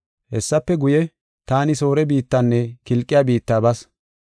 Hessafe guye, taani Soore biittanne Kilqiya biitta bas.